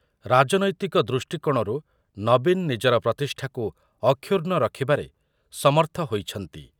ରାଜନୈତିକ ଦୃଷ୍ଟିକୋଣରୁ ନବୀନ ନିଜର ପ୍ରତିଷ୍ଠାକୁ ଅକ୍ଷୁଣ୍ଣ ରଖିବାରେ ସମର୍ଥ ହୋଇଛନ୍ତି ।